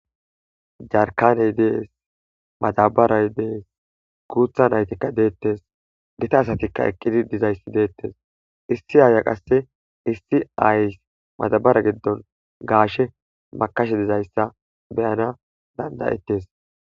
Jarkkane dees. madabaray dees. guutha naatika deetees. gita asatikka eqqidi dizayssi beeteees. Issi aayiya qasse issi aayes madabare gidon gaashe makashe dizayssa be'ana danda'etees.